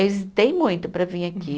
Hesitei muito para vir aqui.